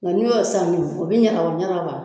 Nga n'i y'o saani o obi ɲagara ɲagara ba